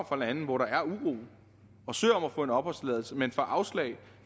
fra lande hvor der er uro og søger om at få en opholdstilladelse her men får afslag